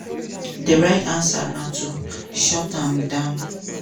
di right answer na to: shut am down.